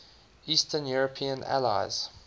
eastern european allies